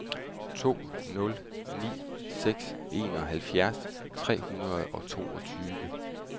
to nul ni seks enoghalvfjerds tre hundrede og toogfyrre